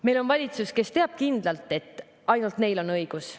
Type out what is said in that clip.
Meil on valitsus, kes teab kindlalt, et ainult neil on õigus.